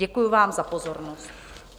Děkuji vám za pozornost.